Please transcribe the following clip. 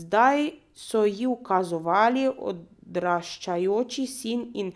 Zdaj so ji ukazovali odraščajoči sin in